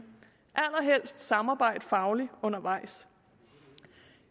allerhelst samarbejde fagligt undervejs